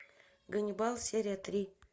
ганнибал серия три